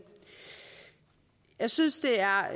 jeg synes det er